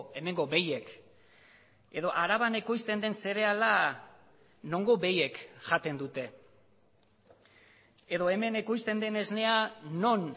hemengo behiek edo araban ekoizten den zereala nongo behiek jaten dute edo hemen ekoizten den esnea non